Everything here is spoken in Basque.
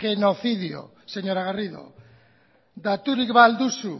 genocidio señora garrido daturik ba al duzu